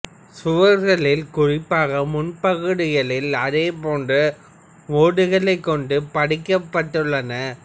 சுவர்களில் குறிப்பாக முன்பகுதிகளில் அதே போன்ற ஓடுகளைக் கொண்டு பதிக்கப்பட்டுள்ளன